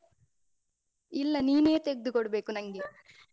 ಇಲ್ಲ ನೀನೇ ತೆಗ್ದುಕೊಡ್ಬೇಕು ನಂಗೆ.